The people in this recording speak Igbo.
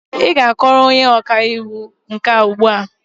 Ị ga-akọrọ onye ọka iwu nke a ugbu a!